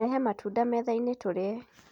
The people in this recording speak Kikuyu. Rehe matunda methainĩ tũrĩe.